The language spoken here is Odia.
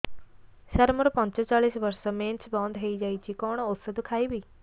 ସାର ମୋର ପଞ୍ଚଚାଳିଶି ବର୍ଷ ମେନ୍ସେସ ବନ୍ଦ ହେଇଯାଇଛି କଣ ଓଷଦ ଖାଇବି